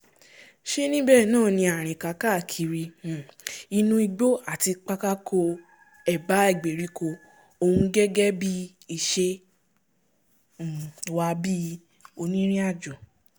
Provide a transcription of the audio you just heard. ṣe níbẹ̀ náà ni àrìnká káàkiri um inú igbó àti pákáko ẹ̀bá ìgbèríko ọ̀hún gẹ́gẹ́ bí ìṣe um wa bí onírìnàjò